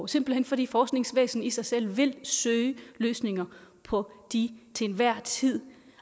simpelt hen fordi forskningsvæsen i sig selv vil søge løsninger på de til enhver tid